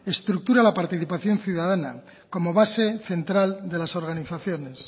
estructura la participación ciudadana como base central de las organizaciones